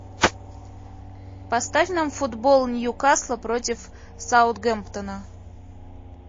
поставь нам футбол ньюкасла против саутгемптона